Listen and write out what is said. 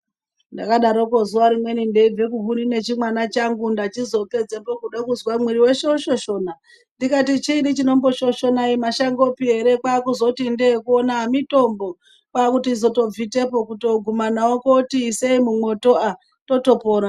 Ndakadaroko zuva rimweni ndeibve kuhuni nechimwana changu ndachizopedzepo kude kuzwa kuti mwiiri weshe woshoshona ndikati chiini chinomboshoshona aimashangopi ere. Kwaakuzoti ndee kuona ah mitombo kwaakutozobvitepo kutooguma nawo kuoti isei mumwoto, ah, totopora.